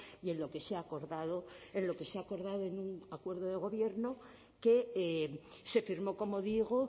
y en lo que se ha acordado en lo que se ha acordado en un acuerdo de gobierno que se firmó como digo